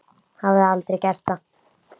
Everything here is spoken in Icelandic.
Hafði aldrei gert það.